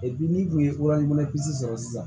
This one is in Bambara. n'i tun ye sɔrɔ sisan